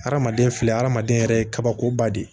Hadamaden filɛ adamaden yɛrɛ ye kabakoba de ye